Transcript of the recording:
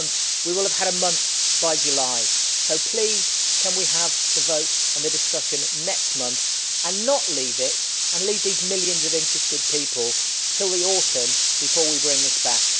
We will have had a month by July, so please can we have the vote and the discussion next month and not leave it and leave these millions of interested people until the autumn before we bring this back?